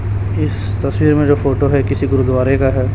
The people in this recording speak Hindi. इस तस्वीर में जो फोटो है किसी गुरूद्वारे का है।